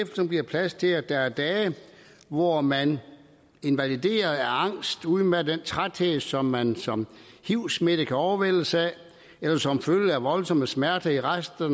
som giver plads til at der er dage hvor man invalideret af angst udmattet af den træthed som man som hiv smittet kan overvældes af eller som følge af voldsomme smerter efter